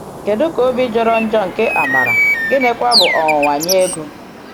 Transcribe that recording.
Kedu ka obi jọrọ njọ nke Àmárà, gịnịkwa bụ ọnwụnwa nye Égó!